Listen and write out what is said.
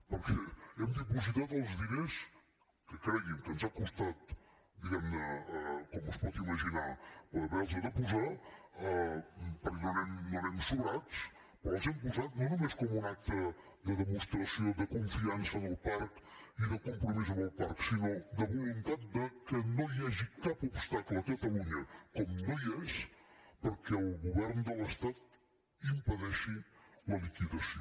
perquè hem dipositat els diners que cregui’m ens ha costat diguem ne com es pot imaginar haver los de posar perquè no n’anem sobrats però els hem posat no només com un acte de demostració de confiança en el parc i de compromís amb el parc sinó de voluntat de que no hi hagi cap obstacle a catalunya com no hi és perquè el govern de l’estat impedeixi la liquidació